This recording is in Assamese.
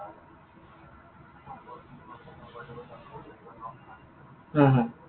haa, haa.